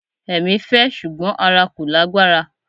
Ẹ̀mí fẹ́ ṣùgbọ́n ara kò lágbára.